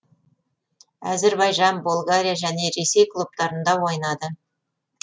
әзірбайжан болгария және ресей клубтарында ойнады